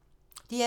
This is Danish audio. DR2